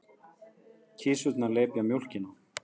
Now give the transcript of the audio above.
Kisurnar lepja mjólkina.